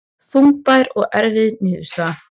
Þungbær og erfið niðurstaða